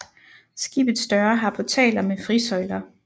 Skibets døre har portaler med frisøjler